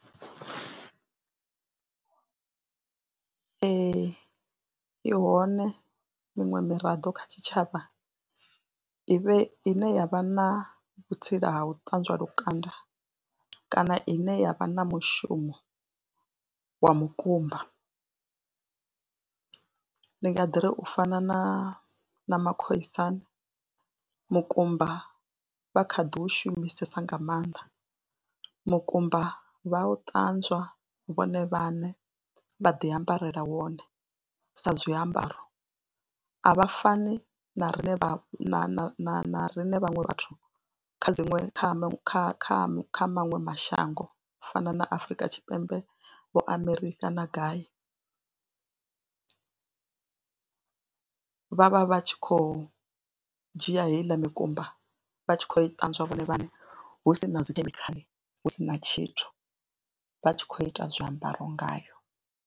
Ee, i hone miṅwe miraḓo kha tshitshavha i vhe ine ya vha na vhutsila ha u ṱanzwa lukanda kana ine ya vha na mushumo wa mukumba, ndi nga ḓi ri u fana na na makhoisan, mukumba vha kha ḓi u shumisesa nga maanḓa. Mukumba vha u ṱanzwa vhone vhaṋe vha ḓi ambarela wone sa zwiambaro a vha fani na riṋe na na na riṋe vhaṅwe vhathu kha dziṅwe kha kha kha maṅwe mashango u fana na Afrika Tshipembe vho amerikha kana gai vha, vha vha vha tshi khou dzhia heila mikumba vha tshi khou i ṱanzwa vhone vhaṋe hu si na dzi khemikhala hu si na tshithu vha tshi khou ita zwiambaro ngayo.